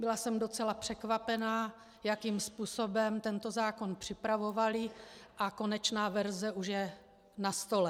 Byla jsem docela překvapená, jakým způsobem tento zákon připravovali, a konečná verze už je na stole.